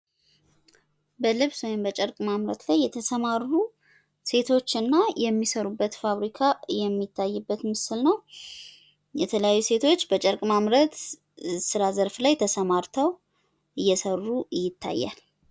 በልብስ ወይም በጨርቅ ማምረት ላይ የተሰማሩ ሴቶችና የሚሰሩበት ፋብሪካ የሚታይበት ምስል ነው። የተለያዩ ሴቶች በጨርቅ ማምረት ዘርፍ ላይ ተሰማርተው እየሰሩ ይታያል።